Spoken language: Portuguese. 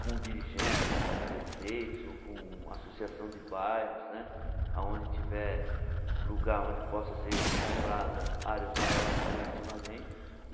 com dirigentes, com prefeitos, ou com associação de bairros né, aonde tiver lugar, onde possam ser compradas áreas maiores coletivamente.